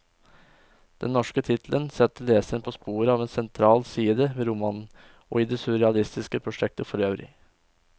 Den norske tittelen setter leseren på sporet av en sentral side ved romanen, og i det surrealistiske prosjektet forøvrig.